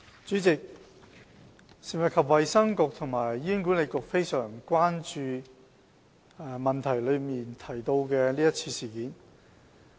主席，食物及衞生局和醫院管理局非常關注質詢所提及的是次事件。